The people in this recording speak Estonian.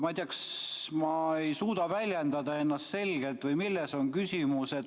Ma ei tea, kas ma ei suuda ennast selgelt väljendada või milles on küsimus.